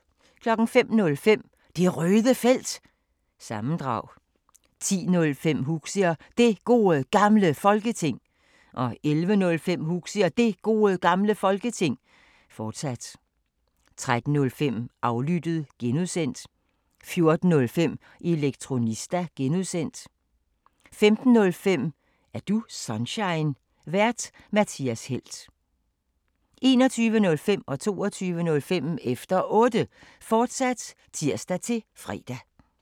05:05: Det Røde Felt – sammendrag 10:05: Huxi og Det Gode Gamle Folketing 11:05: Huxi og Det Gode Gamle Folketing, fortsat 13:05: Aflyttet (G) 14:05: Elektronista (G) 15:05: Er du Sunshine? Vært:Mathias Helt 21:05: Efter Otte, fortsat (tir-fre) 22:05: Efter Otte, fortsat (tir-fre)